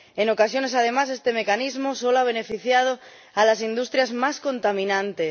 En ocasiones, además, este mecanismo solo ha beneficiado a las industrias más contaminantes.